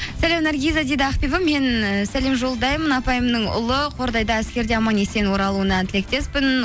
сәлем наргиза дейді ақбибі мен ііі сәлем жолдаймын апайымның ұлы қордайда әскерде аман есен оралуына тілектеспін